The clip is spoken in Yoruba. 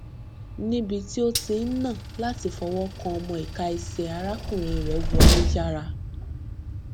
níbi tí ó ti ń nà láti fọwọ kan ọmọ ìka ẹsẹ arákùnrin rẹ wọlé yára